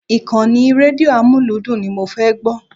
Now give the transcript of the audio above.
Ìkànnì rédíò amúlúdùn ni mo fẹ́ gbọ́.